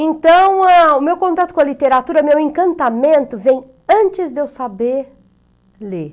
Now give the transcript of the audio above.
Então, eh o meu contato com a literatura, meu encantamento, vem antes de eu saber ler.